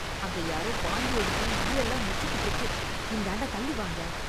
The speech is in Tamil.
அங்க யாரோ வாந்தி எடுத்து ஈயெல்லாம் மொச்சிக்கிட்டு இருக்கு... இந்தாண்ட தள்ளி வாங்க.